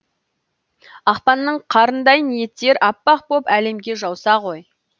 ақпанның қарындай ниеттер аппақ боп әлемге жауса ғой